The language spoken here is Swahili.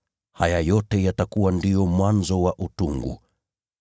Haya yote yatakuwa ndio mwanzo wa utungu.